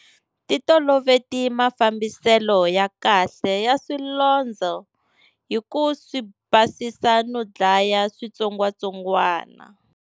Titoloveti mafambiselo ya kahle ya swilondzo hi ku swi basisa no dlaya switsongwatsongwana.